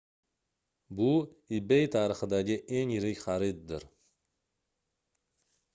bu ebay tarixidagi eng yirik xariddir